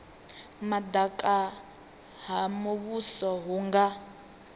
madaka ha muvhuso hu nga